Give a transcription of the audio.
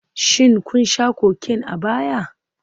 Shin kun sha Cocaine a baya?